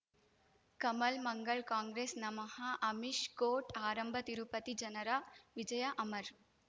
ಕಮಲ್ ಮಂಗಳ್ ಕಾಂಗ್ರೆಸ್ ನಮಃ ಅಮಿಷ್ ಕೋರ್ಟ್ ಆರಂಭ ತಿರುಪತಿ ಜನರ ವಿಜಯ ಅಮರ್